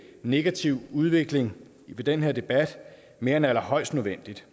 negative udvikling i den her debat mere end allerhøjst nødvendigt